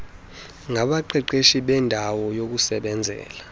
ngabaqeqeshi beendawo yokusebenzela